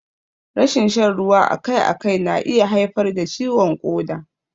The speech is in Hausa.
Rashin shan ruwa akai akai na iya haifar da ciwon ƙoda.